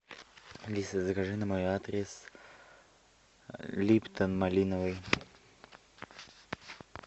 алиса закажи на мой адрес липтон малиновый